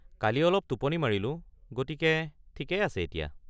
কালি অলপ টোপনি মাৰিলো, গতিকে ঠিকেই আছে এতিয়া।